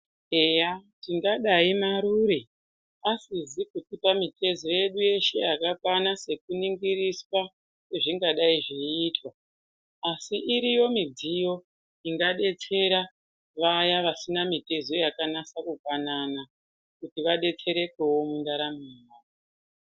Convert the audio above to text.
Eya tingadayi Marure asizi kutipa mitezo yedu yakakwana nekuningiriswa kwezvingadayi zveiitwa asi iriyo midziyo ingadetsera vaya vasina mitezo yakanasa kufanana kuti vadetserekewo mundaramo yavo.